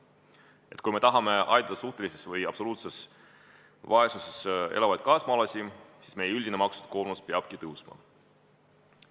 Et kui me tahame aidata suhtelises või absoluutses vaesuses elavaid kaasmaalasi, siis meie üldine maksukoormus peabki kasvama.